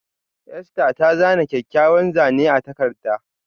Esther ta zana kyakkyawar Zane a takarda.